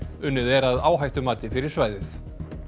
unnið er að áhættumati fyrir svæðið